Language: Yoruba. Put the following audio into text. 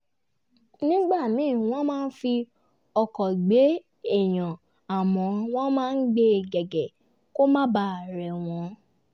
nígbà míì wọ́n máa fi ọkọ̀ gbé èèyàn àmọ́ wọ́n máa gbé gègé kó má baà rè wọ́n